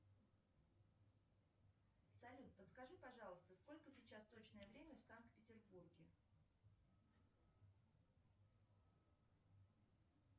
салют подскажи пожалуйста сколько сейчас точное время в санкт петербурге